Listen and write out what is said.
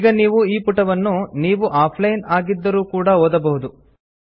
ಈಗ ನೀವು ಈ ಪುಟವನ್ನು ನೀವು ಆಫ್ಲೈನ್ ಆಗಿದ್ದರೂ ಕೂಡಾ ಓದಬಹುದು